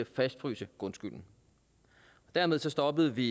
fastfryse grundskylden dermed stoppede vi